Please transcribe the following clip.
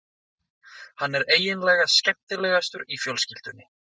Hann er eiginlega skemmtilegastur í fjölskyldunni.